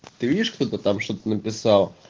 ты видишь кто-то там что-то написал